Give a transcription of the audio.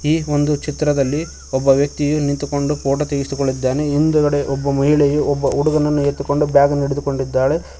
ಈ ಒಂದು ಚಿತ್ರದಲ್ಲಿ ಒಬ್ಬ ವ್ಯಕ್ತಿಯು ನಿಂತುಕೊಂಡು ಫೋಟೋ ತೆಗೆಸಿಕೊಳ್ಳುತ್ತಿದ್ದಾನೆ ಹಿಂದ್ಗಡೆ ಒಬ್ಬ ಮಹಿಳೆಯು ಒಬ್ಬ ಹುಡುಗನನ್ನು ಎತ್ತಿಕೊಂಡು ಬ್ಯಾಗನ್ನು ಹಿಡಿದುಕೊಂಡಿದ್ದಾಳೆ.